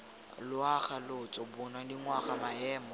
loago lotso bong dingwaga maemo